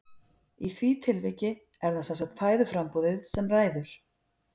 Í því tilviki er það sem sagt fæðuframboðið sem ræður.